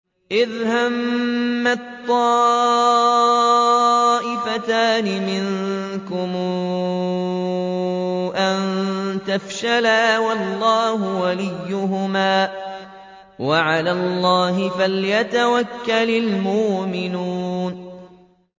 إِذْ هَمَّت طَّائِفَتَانِ مِنكُمْ أَن تَفْشَلَا وَاللَّهُ وَلِيُّهُمَا ۗ وَعَلَى اللَّهِ فَلْيَتَوَكَّلِ الْمُؤْمِنُونَ